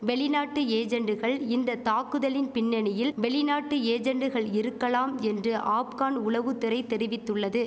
வெளிநாட்டு ஏஜென்டுகள் இந்த தாக்குதலின் பின்னணியில் வெளிநாட்டு ஏஜென்டுகள் இருக்கலாம் என்று ஆப்கன் உளவுத்திறை தெரிவித்துள்ளது